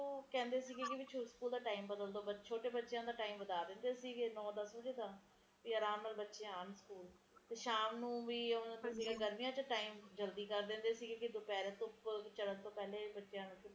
heater ਕੀਤੇ ਹੋਏ ਨੇ ਤਾ ਅੰਦਰ ਗਰਮੈਸ਼ ਹੀ ਰਹਿੰਦੀ ਹੈ ਘਰਾਂ ਚ ਤੇ ਓਥੇ ਓਹਨਾ ਔਖਾ ਨੀ ਹੈਗਾ ਪਰ ਆਪਣੇ ਇਥੇ ਤਾ ਦੀਵਾਰੇ ਵੀ ਠੰਡੀ ਤੇ ਕਮਰੇ ਵੀ ਜਵਾ ਠਰੇ ਰਹਿੰਦੇ ਆ ਬਹੁਤ ਮਾੜਾ ਹਾਲ ਆ ਇਥੇ ਤਾ